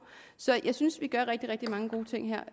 så jeg synes vi gør rigtig rigtig mange gode ting her